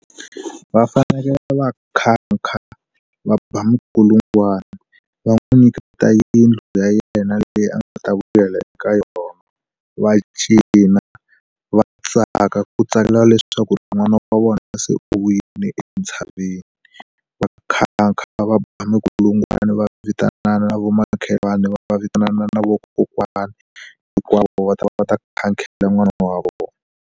Va fanekele va nkhankha, va ba minkulungwana, va n'wi nyiketa yindlu ya yena leyi a nga ta vuyela eka yona. Va cina, va tsaka, ku tsakela leswi swa ku ri n'wana wa vona va se u vuyile entshaveni. Va nkhankha. va ba minkulungwana, va vitana na vamakhelwani, va vitana na vakokwana hinkwavo, va ta va ta nkhankhela n'wana wa vona.